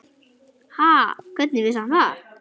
Ha, hvernig vissi hann það?